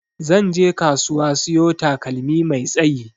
Zanje kasuwa siyo takalmi mai tsayi.